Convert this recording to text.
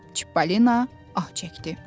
Çippolino ah çəkdi.